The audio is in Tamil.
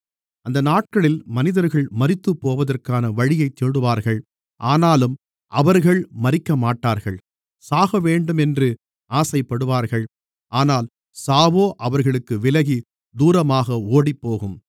அந்த நாட்களில் மனிதர்கள் மரித்துப்போவதற்கான வழியைத் தேடுவார்கள் ஆனாலும் அவர்கள் மரிக்கமாட்டார்கள் சாகவேண்டும் என்று ஆசைப்படுவார்கள் ஆனால் சாவோ அவர்களுக்கு விலகி தூரமாக ஓடிப்போகும்